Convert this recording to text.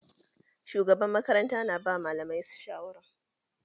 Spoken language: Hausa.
Shugaban makaranta na ba malamai shawara